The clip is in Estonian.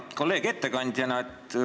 Hea kolleeg, ettekandja!